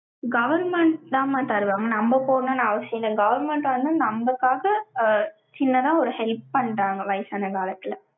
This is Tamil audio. government தாம்மா தருவாங்க. நம்ம போடணும்னு அவசியம் இல்லை. government வந்து, நம்மளுக்காக, ஆஹ் சின்னதா ஒரு help பண்றாங்க, வயசான காலத்துல.